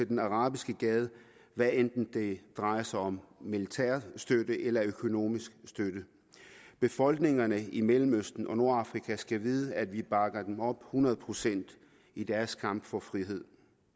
den arabiske gade hvad enten det drejer sig om militær støtte eller økonomisk støtte befolkningerne i mellemøsten og nordafrika skal vide at vi bakker dem op hundrede procent i deres kamp for frihed